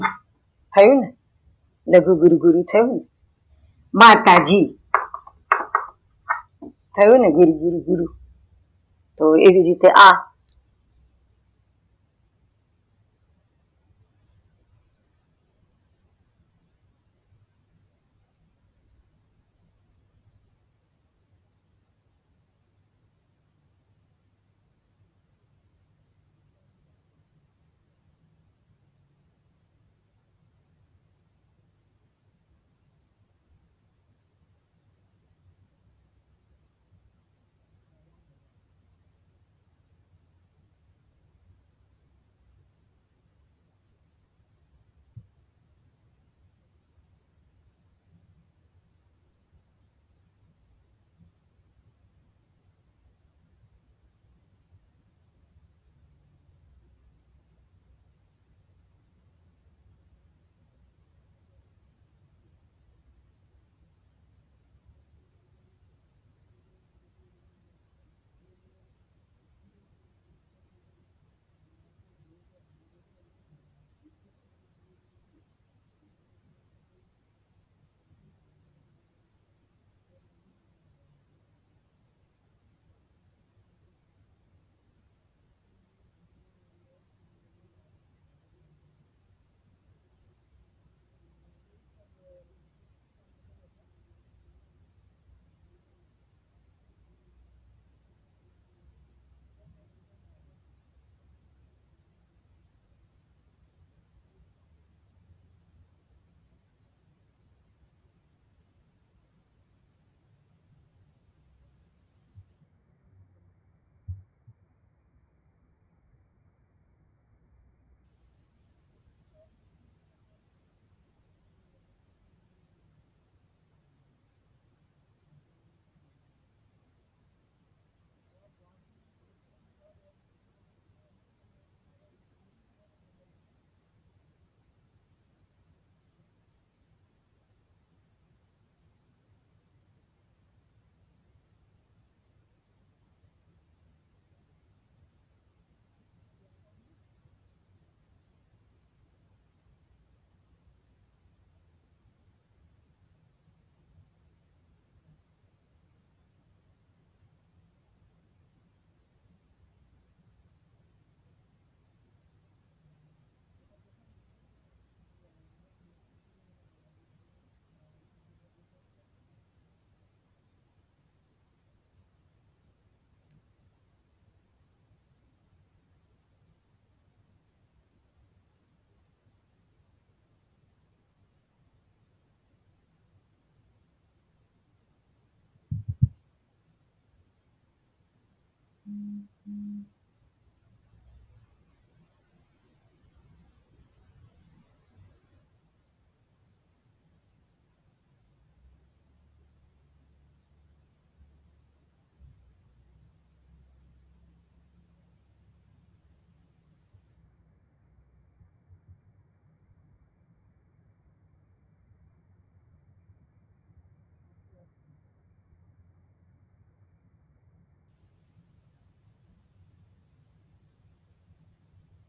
થયું ને, લઘુ ગુરુ ગુરુ થયું ને, માતાજી થયું ને ગુરુ ગુરુ ગુરુ તો એવીજ રીતે .